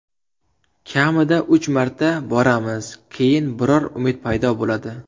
Kamida uch marta boramiz, keyin biror umid paydo bo‘ladi.